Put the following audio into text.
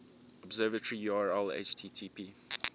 observatory url http